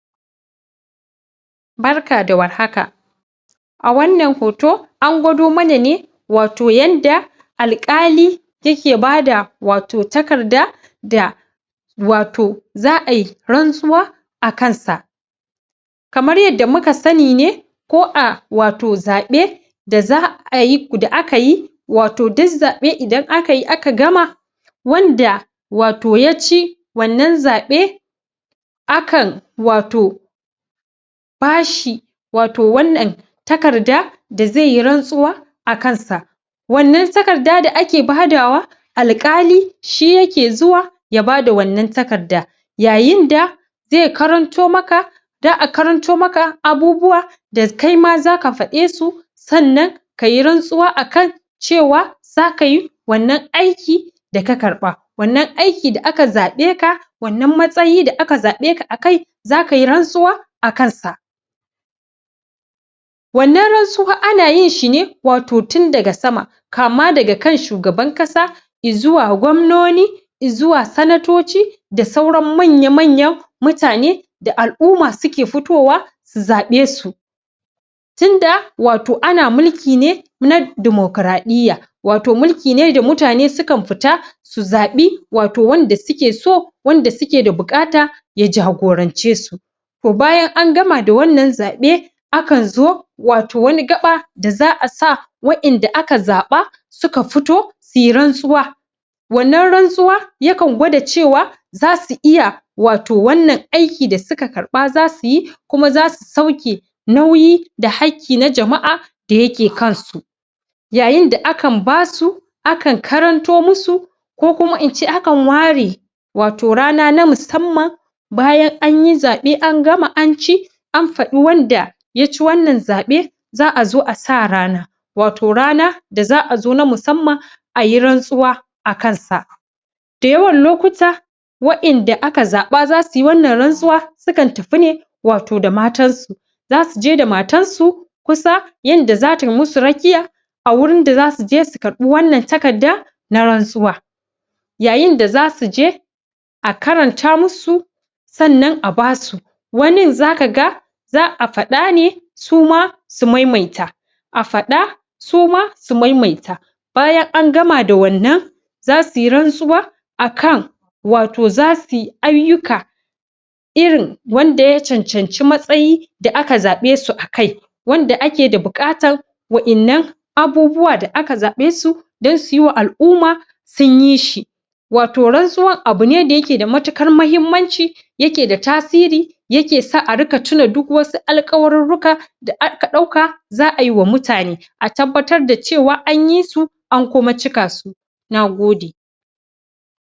Barka da warhaka a wanna hoto an gwado mana ne wato yanda alkali yake ba da wato takrda da wato za a yi rantsuwa a kansa. Kamar yadda muka sani ne ko a wat zabe da za a yi da aka yi wato duk zabe idan akayi aka gama wanda wato yaci wannan zabe akan wato bashi wato wannan takarda da zai yi rantsuwa akansa. Wannan takarda da ake badawa alkali shi yake zuwa ya bada wannan takarda yaninda zai karanto maka da a karanto maka abubuwa da kaima zaka fade su sannan kayi rantsuwa a kan cewa zaka yi wannan aiki da ka karba wanna aiki da aka zabe ka, wannan matsayi da aka zabe ka akai zaka yi rantsuwa a kansa. Wannan rantsuwa ana yin shine wato tun daga sama kama daga kan shugaban kasa, izuwa gomnoni, izuwa sanatoci da sauran manya-manyan mutane da al`umma suke fitowa su zabe su. tunda wato na mulki ne na democradiya wato muliki ne da mutane sukan fita su zabi wato wanda suke so wanda suke da bukata ya jagorancesu. To bayyan an gama da wannan zabe akan zo wato wani gaba da za a sa waddan da aka zaba suka fito suyi rantsuwa wannan rantsuwa yakan gwada cewa zas iya wato wanna aiki da suka karba za su yi+ kuma zasu sauke nauyi da haki na jama`a da yake kansu yayin da akan basu akan karanto musu ko kuma inceakan ware wato rana na mussamman bayan anyi zabe, an gama, an ci, an fdi wanda ya ci wannan zabe za a zo a sa rana. Wato rana da za a zo na mussamma a yi rantsuwa a kansa da yawan lokuta waddan da aka zaba za suyi wanna rantsuwa sukan tafi ne wato da matan su. Za su je da matan su kusa yanda zata musu rakiya a wurin da za su je su karbi wanna takada na rantsuwa. Yayin da za su je a karanta musu sannan a basu waninza kaga za a fada ne suma su maimaita a fada suma su maimata baya an gama da wannnan za suyi ransuwa akan wato za suyi ayuka iri wanda ya cancanci matsayi da aka zae su akai wanda ake da bukatan waddan nan aubuwa da aka zabe su dan su yiwa al`umma sunyi shi. Wato rantsuwan abune da yake da matukar mahimmanci yake da tasiri yake sa a rinka cire duk wasu alkawaririka da ka dauka za a yiwa mutane a tabbatar da cewa anyisu an kuma cikasu. Nagode.